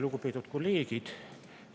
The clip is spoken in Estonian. Lugupeetud kolleegid!